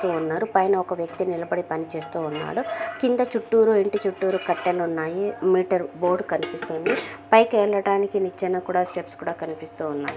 పైన ఒక వ్యక్తి నిలబడి పనిచేస్తున్నాడు. కింద చుట్టూరు ఇంటి చుట్టూరు కట్టెలున్నాయి. మీటర్ బోర్డు కనిపిస్తుంది. పైకి వెళ్లడానికి నిచ్చెన కూడా స్టెప్స్ కూడా కనిపిస్తున్నాయి.